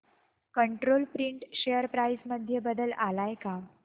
control Print share price मध्ये बदल आलाय का